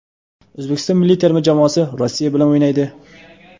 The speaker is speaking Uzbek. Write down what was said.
O‘zbekiston milliy terma jamoasi Rossiya bilan o‘ynaydi.